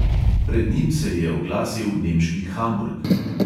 Pred njim se je oglasil nemški hamburg.